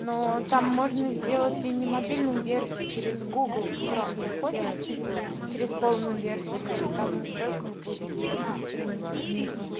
но там можно сделать и не мобильную версию через гугл хром заходишь через полную версию и там в настройках будет удалить страницу внизу